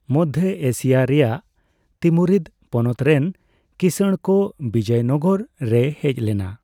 Madhya Asia ᱨᱮᱭᱟᱜ ᱛᱤᱢᱩᱨᱤᱫ ᱯᱚᱱᱚᱛ ᱨᱮᱱ ᱠᱤᱥᱟᱬᱲᱠᱚ ᱵᱤᱡᱚᱭᱱᱚᱜᱚᱨ ᱨᱮᱭ ᱦᱮᱡᱞᱮᱱᱟ ᱾